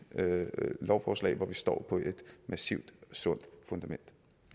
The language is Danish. lovforslag hvor vi står på et massivt og sundt fundament